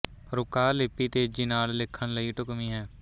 ਰੁਕਾਹ ਲਿਪੀ ਤੇਜ਼ੀ ਨਾਲ ਲਿੱਖਣ ਲਈ ਢੁੱਕਵੀਂ ਹੈ